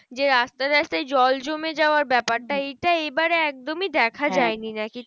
যে রাস্তায় রাস্তায় জল জমে যাওয়া ব্যাপারটা এইটা এবারে একদমই দেখা যাই নি নাকি?